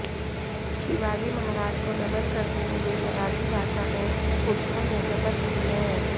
शिवाजी महाराज को नमन करते हुए मराठी भाषा में उद्धव ने शपथ ली है